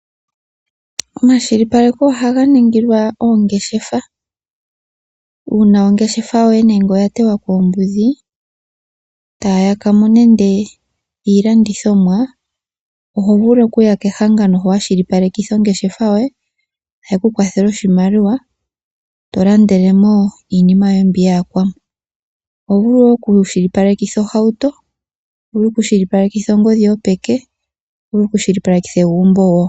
Omakwashilipaleko ohaga ningilwa oongeshefa uuna ongeshafa yoye nenge oya tewa koombudhi etaya yakamo nenge iilandithomwa. Oho vulu okuya kehangano hono wakwashilipaleka ongeshafa yoye etayekukwathele oshimaliwa eto landele mo iinima yoye mbi yayakwamo . Oho vulu woo okukwashilipalekitha ohauto, ongodhi yopeke noshowo egumbo.